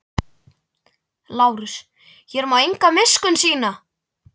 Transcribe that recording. LÁRUS: Hér má enga miskunn sýna.